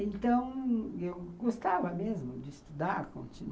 Então, eu gostava mesmo de estudar, continu